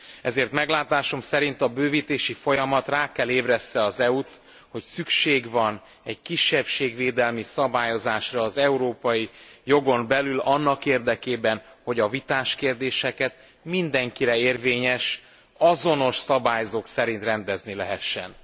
Ezért meglátásom szerint a bővítési folyamat rá kell ébressze az EU t, hogy szükség van egy kisebbségvédelmi szabályozásra az európai jogon belül annak érdekében, hogy a vitás kérdéseket mindenkire érvényes, azonos szabályzók szerint rendezni lehessen.